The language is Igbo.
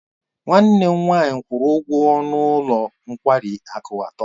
Nwanne m nwanyị kwuru ụgwọ ọnụ ụlọ nkwari akụ atọ.